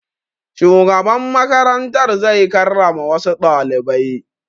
Shugaban makarantar zai karrama wassu ɗalibai